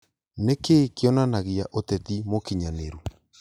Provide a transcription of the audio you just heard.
Nĩkĩĩ kĩonanagia ũteti mũkinyanĩru?